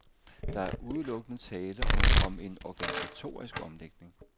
Der er udelukkende tale om en organisatorisk omlægning.